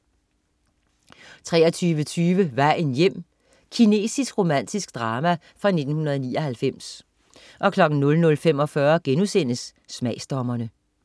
23.20 Vejen hjem. Kinesisk romantisk drama fra 1999 00.45 Smagsdommerne*